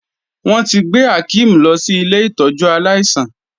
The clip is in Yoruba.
Wọ́n ti gbé Akeem lọ sí ilé ìtọ́jú aláìsàn.